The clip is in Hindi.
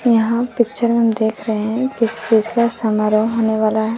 यहां पिक्चर में हम देख रहे हैं। किसी चीज का समारोह होने वाला है।